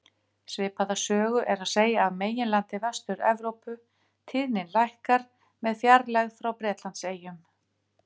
Svipaða sögu er að segja af meginlandi Vestur-Evrópu, tíðnin lækkar með fjarlægð frá Bretlandseyjum.